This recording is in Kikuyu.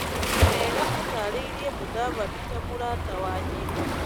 Kega atarĩirĩe Mũdavadi ta mũrata wa Nyeri .